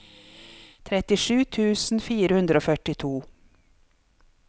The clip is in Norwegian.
trettisju tusen fire hundre og førtito